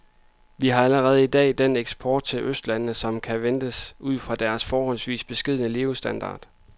Vi har allerede i dag den eksport til østlandene, som kan ventes ud fra deres forholdsvis beskedne levestandard.